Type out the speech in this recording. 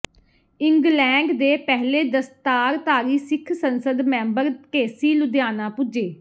England ਦੇ ਪਹਿਲੇ ਦਸਤਾਰਧਾਰੀ ਸਿੱਖ ਸੰਸਦ ਮੈਂਬਰ ਢੇਸੀ ਲੁਧਿਆਣਾ ਪੁੱਜੇ